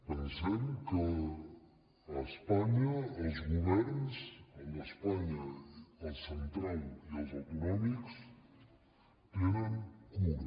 pensem que a espanya els governs el central i els autonòmics en tenen cura